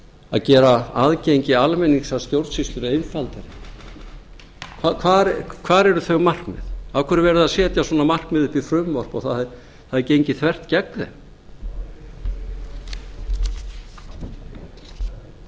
að gera aðgengi almennings að stjórnsýslunni einfaldari hvar eru þau markmið af hverju er verið að setja svona markmið upp í frumvarp og það er gengið þvert gegn þeim það